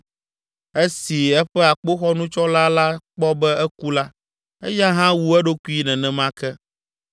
Esi eƒe akpoxɔnutsɔla la kpɔ be eku la, eya hã wu eɖokui nenema ke.